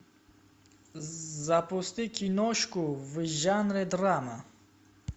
запусти киношку в жанре драма